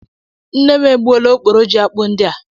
Nne m e gbuola okporò ji akpụ ndị a.